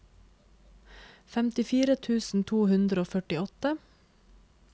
femtifire tusen to hundre og førtiåtte